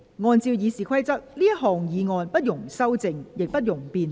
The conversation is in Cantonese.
根據《議事規則》，這項議案不容修正，亦不容辯論。